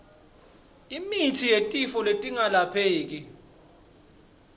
imitsi yetifo letingelapheki